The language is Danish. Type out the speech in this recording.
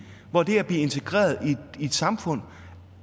hvor det at blive integreret i et samfund